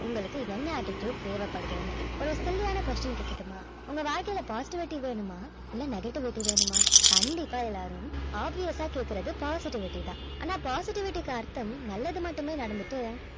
உங்களுக்கு என்ன attitude தேவைப்படுதுன்னு ஒரு silly ஆன question கேட்கட்டுமா உங்க வாழ்க்கையில positivity வேணுமா இல்ல negativity வேணுமா கண்டிப்பா எல்லாரும் obvious ஆ கேட்கிறது positivity தான் ஆனா positivity க்கு அர்த்தம் நல்லது மட்டுமே நடந்துட்டு